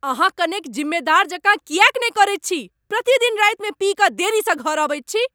अहाँ कनेक जिम्मेदार जकाँ किएक नहि करैत छी? प्रतिदिन रातिमे पी कऽ देरीसँ घर अबैत छी।